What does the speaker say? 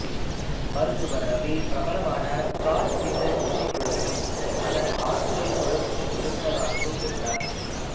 மருத்துவர் இரவி பிரபலமான காட் குயின்டெட் இசைக்குழுவிலும் அதன் ஆண் குரல் குழுமத்தின் உறுப்பினராகவும் இருந்தார்